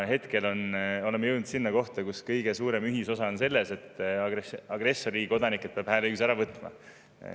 Hetkel oleme jõudnud sinna kohta, kus kõige suurem ühisosa on selles, et agressorriigi kodanikelt peab hääleõiguse ära võtma.